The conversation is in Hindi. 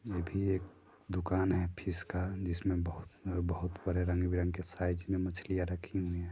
अभी एक दुकान है फिश का जिसमे बहोत-बहोत रंगबिरंगी साइज मे मछलिया रखी हुई है।